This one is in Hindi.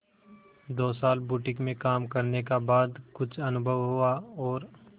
दो साल बुटीक में काम करने का बाद कुछ अनुभव हुआ और